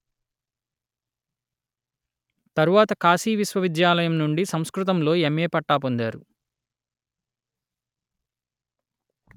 తరువాత కాశీ విశ్వవిద్యాలయం నుండి సంస్కృతంలో ఎమ్ఎ పట్టా పొందారు